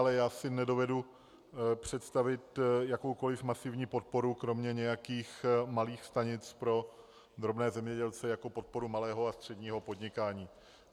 Ale já si nedovedu představit jakoukoliv masivní podporu kromě nějakých malých stanic pro drobné zemědělce jako podporu malého a středního podnikání.